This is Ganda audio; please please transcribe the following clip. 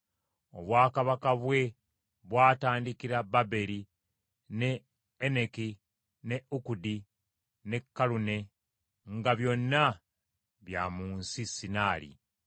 Obwakabaka bwe bwatandikira Baberi, ne Eneki ne Akudi ne Kalune, nga byonna bya mu nsi Sinali.